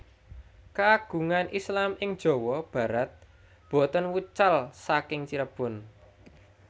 Keagungan Islam ing Jawa Barat boten wucal saking Cirebon